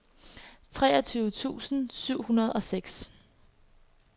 treogtyve tusind syv hundrede og seks